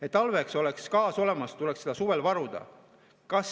Et talveks oleks gaas olemas, tuleks seda suvel varuda.